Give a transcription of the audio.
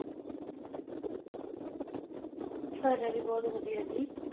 ਸਾਡਾ ਵੀ ਬਹੁਤ ਵਧੀਆ ਜੀ।